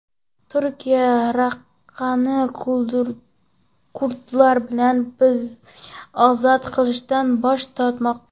Turkiya Raqqani kurdlar bilan birga ozod qilishdan bosh tortmoqda.